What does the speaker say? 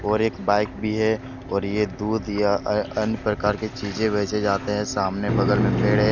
और एक बाइक भी है और ये दूध या अन्य प्रकार की चीजें बेचें जाते है सामने बगल में पेड़ है।